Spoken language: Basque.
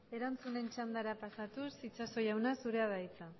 erantzunen txandara pasatuz itxaso jauna zurea da hitza